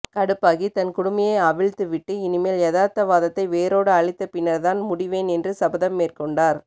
கடுப்பாகி தன் குடுமியை அவிழ்த்துவிட்டு இனிமேல் யதார்த்தவாதத்தை வேரோடு அழித்த பின்னர்தான் முடிவேன் என்று சபதம் மேற்கொண்டார்